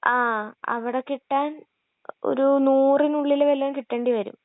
ങാ...അവിടെ കിട്ടാൻ ഒരു നൂറിനുള്ളില് വല്ലോം കിട്ടേണ്ടിവരും.